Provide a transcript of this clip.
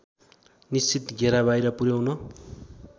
निश्चित घेराबाहिर पुर्‍याउन